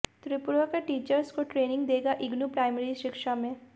त्रिपुरा के टीचर्स को ट्रेनिंग देगा इग्नू प्राइमरी शिक्षा में